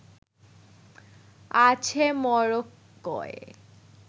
আছে মরক্কোয়